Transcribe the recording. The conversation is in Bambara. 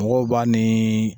Mɔgɔw b'a ni